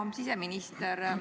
Hea siseminister!